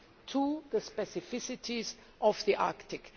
to the specificities of the Arctic.